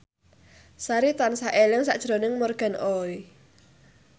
Sari tansah eling sakjroning Morgan Oey